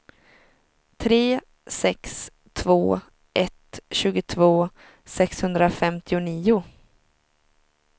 tre sex två ett tjugotvå sexhundrafemtionio